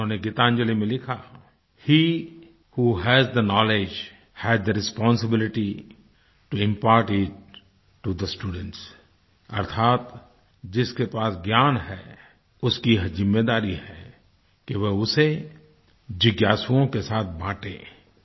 उन्होंने गीतांजलि में लिखा है he who has the knowledge has the responsibility to impart it to the students अर्थात जिसके पास ज्ञान है उसकी ये जिम्मेदारी है कि वह उसे जिज्ञासुओं के साथ बाँटे